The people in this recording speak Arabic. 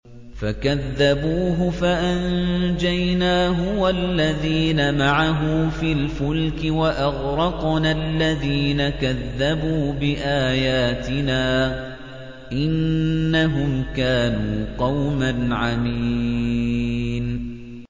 فَكَذَّبُوهُ فَأَنجَيْنَاهُ وَالَّذِينَ مَعَهُ فِي الْفُلْكِ وَأَغْرَقْنَا الَّذِينَ كَذَّبُوا بِآيَاتِنَا ۚ إِنَّهُمْ كَانُوا قَوْمًا عَمِينَ